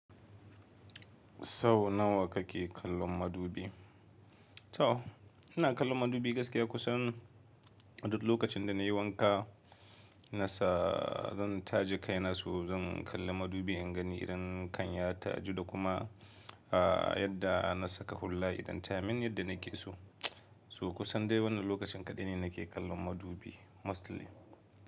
Sau nawa kake kallon madubi? To ina kallon madubi gaskiya kusan a duk lokacin da na yi wanka. Na sa zan taje kai na so zan kalli madubi in gani idan kan ya taju da kuma ah yadda na saka hulla idan ta min yadda nake so. So kusan dai wannan lokacin kaɗai ne nake kallon madubi mostly.